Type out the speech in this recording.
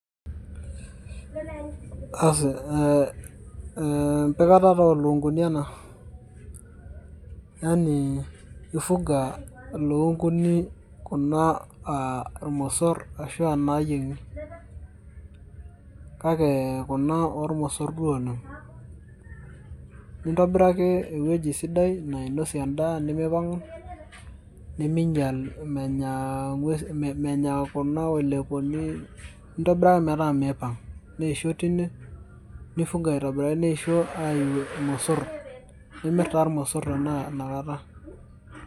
Aasi eeh empikata taa olukunguni ena ,yani ifuga ilukunguni kuna aa aa irmosor arashu aa nayiengi ,kake kuna ormosor duo oleng. Intobiraki uwueji sidai nainosie endaa nimipangu nimiinyal menyaa ee menya kuna oilepuni endaa ometaa miipang keyiuni nifunga aitobiraki neitau irmosor nimir taa irmosor tanaa inakata.